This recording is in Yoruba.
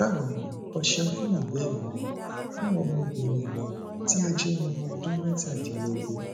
bawo ni o ṣeun fun ibeere rẹ fun ọmọbinrin rẹ ti o jẹ ọmọ ọdun mẹtadilogun